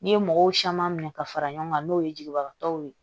N'i ye mɔgɔw caman minɛ ka fara ɲɔgɔn kan n'o ye jigibagatɔw ye